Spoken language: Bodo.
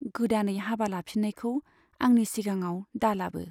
गोदानै हाबा लाफिननायखौ आंनि सिगाङाव दा लाबो।